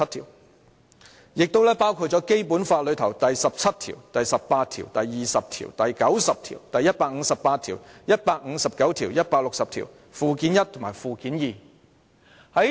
而對於香港，人大常委會的權力來自《基本法》第十七、十八、二十、九十、一百五十八、一百五十九及一百六十條，以及附件一及附件二。